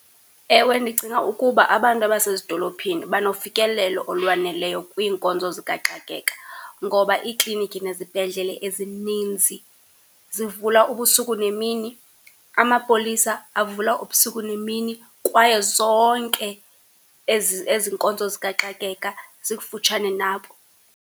Ewe ndicinga ukuba abantu abasezidolophini banofikelelo olwaneleyo kwiinkonzo zikaxakeka, ngoba iiklinikhi nezibhedlele ezininzi zivula ubusuku nemini, amapolisa avula ubusuku nemini. Kwaye zonke ezi, ezi nkonzo zikaxakeka zikufutshane nabo.